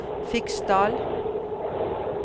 Fiksdal